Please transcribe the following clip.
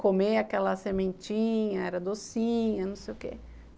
Comer aquela sementinha, era docinha, não sei o quê.